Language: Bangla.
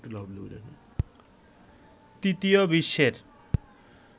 তৃতীয় বিশ্বের